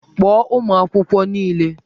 Kpọọ ụmụ akwụkwọ niile!